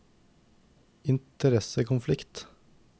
interessekonflikt